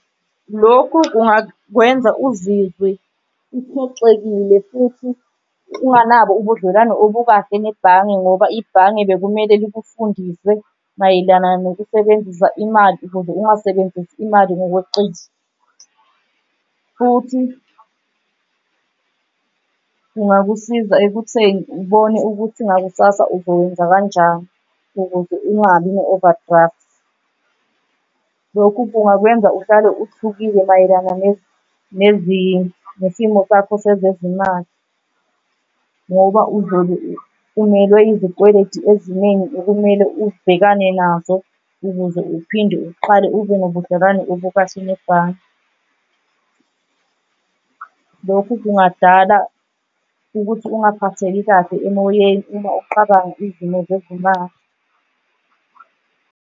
Lokhu kungakwenza uzizwe uphoxekile futhi unganabo ubudlelwano obukade nebhange ngoba ibhange bekumele likufundise mayelana nokusebenzisa imali ukuze ungasebenzisi imali ngokweqile. Futhi kungakusiza ekutheni ubone ukuthi ngakusasa uzowenza kanjani ukuze ungabi ne-overdraft. Lokhu kungakwenza uhlale uthukile mayelana nesimo sakho sezezimali ngoba uzobe umelwe izikweletu eziningi okumele ubhekane nazo ukuze uphinde uqale ube nobudlelwane obukahle nebhange. Lokhu kungadala ukuthi ungaphatheki kahle emoyeni uma uqabanga izimo zezimali.